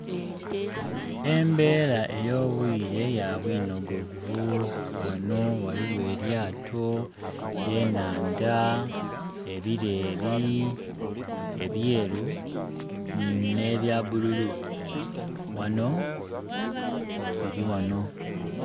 Embera ey'obwire ya bwinogovu ghano ghaligho elyato, enhanda, ebileri ebyeru ne bya bululu ghano biri ghano.